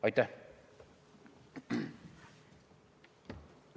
Aitäh!